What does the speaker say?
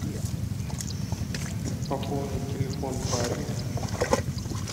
пополнить телефон бабе